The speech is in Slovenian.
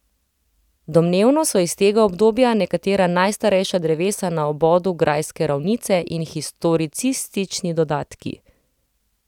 Domnevno so iz tega obdobja nekatera najstarejša drevesa na obodu grajske ravnice in historicistični dodatki.